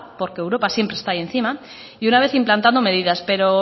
porque europa siempre está ahí encima y una vez implantando medidas pero